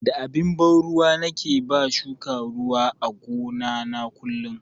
Da abin ban ruwa nake ba shuka ruwa a gona na kullun.